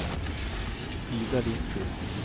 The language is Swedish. Ida Lindquist